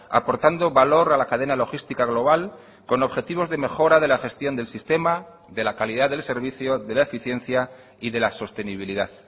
aportando valor a la cadena logística global con objetivos de mejora de la gestión del sistema de la calidad del servicio de la eficiencia y de la sostenibilidad